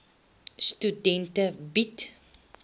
studente bied